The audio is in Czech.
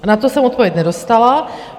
A na to jsem odpověď nedostala.